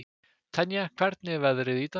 Tanya, hvernig er veðrið í dag?